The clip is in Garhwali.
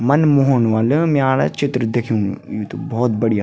मन मोहनो वाल्य म्याड़ चित्र दिख्यु यू त भौत बढ़िया।